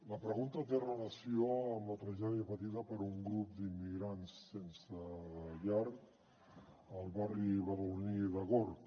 la pregunta té relació amb la tragèdia patida per un grup d’immigrants sense llar al barri badaloní de gorg